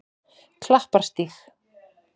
Klapparstíg